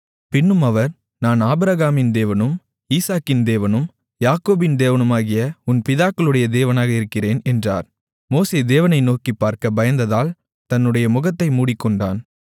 பின்னும் அவர் நான் ஆபிரகாமின் தேவனும் ஈசாக்கின் தேவனும் யாக்கோபின் தேவனுமாகிய உன் பிதாக்களுடைய தேவனாக இருக்கிறேன் என்றார் மோசே தேவனை நோக்கிப்பார்க்க பயந்ததால் தன்னுடைய முகத்தை மூடிக்கொண்டான்